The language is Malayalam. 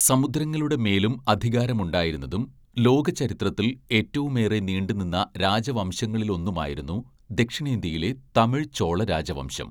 സമുദ്രങ്ങളുടെ മേലും അധികാരമുണ്ടായിരുന്നതും, ലോകചരിത്രത്തിൽ ഏറ്റവുമേറെ നീണ്ടുനിന്ന രാജവംശങ്ങളിലൊന്നുമായിരുന്നു ദക്ഷിണേന്ത്യയിലെ തമിഴ് ചോള രാജവംശം.